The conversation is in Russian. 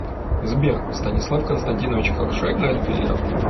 сбер станислав константинович хорошо играет в бильярд